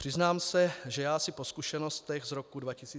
Přiznám se, že já si po zkušenostech z roku 2004 jist nejsem.